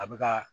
A bɛ ka